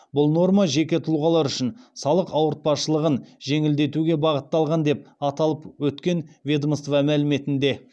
бұл норма жеке тұлғалар үшін салық ауыртпашылығын жеңілдетуге бағытталған деп аталып өткен ведомство мәліметінде